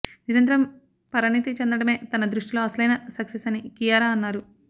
నిరంతరం పరిణతి చెందడమే తన దృష్టిలో అసలైన సక్సెస్ అని కియారా అన్నారు